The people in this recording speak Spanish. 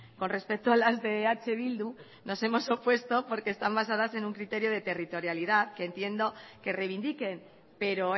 con respecto a las de eh bildu nos hemos opuesto porque están basadas en un criterio de territorialidad que entiendo que reivindiquen pero